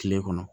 Kile kɔnɔ